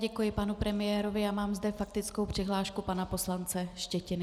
Děkuji panu premiérovi a mám zde faktickou přihlášku pana poslance Štětiny.